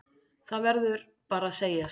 Það verður bara að segjast.